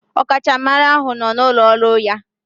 Ọkachamara ahụ nọ n'ụlọ ọrụ ya.